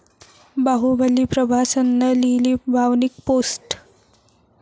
बाहुबली प्रभासनं लिहिली भावनिक पोस्ट